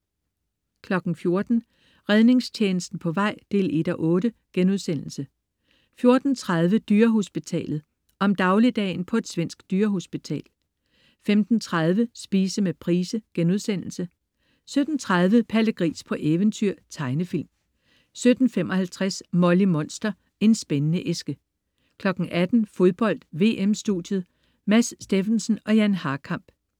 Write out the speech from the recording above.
14.00 Redningstjenesten på vej 1:8* 14.30 Dyrehospitalet. Om dagligdagen på et svensk dyrehospital 15.30 Spise med Price* 17.30 Palle Gris på eventyr. Tegnefilm 17.55 Molly Monster. En spændende æske 18.00 Fodbold: VM-studiet. Mads Steffensen og Jan Harkamp